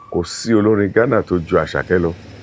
kò sí olórin ghana tó ju àsaké lọ